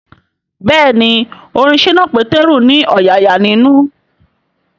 Bẹ́ẹ̀ni orin ṣínà Pétérù ní ọ̀yààyà ninu